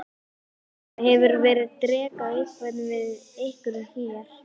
Helga: Hefur verið dekrað eitthvað við ykkur hér?